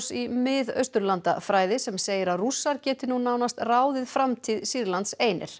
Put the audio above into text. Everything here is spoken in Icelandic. í Mið Austurlandafræði sem segir að Rússar geti nú nánast ráðið framtíð Sýrlands einir